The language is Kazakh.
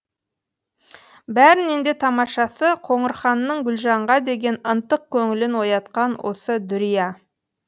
бәрінен де тамашасы қоңырханның гүлжанға деген ынтық көңілін оятқан осы дүрия